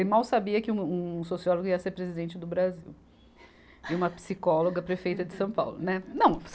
Ele mal sabia que um, um sociólogo ia ser presidente do Brasil e uma psicóloga prefeita de São Paulo, né. Não